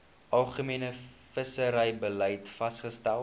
algemene visserybeleid vasgestel